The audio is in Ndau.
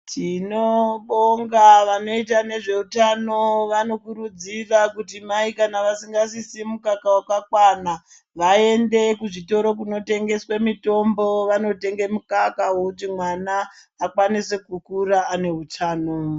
Tinobonga vanoita nezveutano vanokurudzira kuti mai kana vasingasvitsi mukaka wakakwana vaende kuzvitoro kunotengeswe mitombo vandotenga mukaka wekuti mwana akwanise kukura ane utano.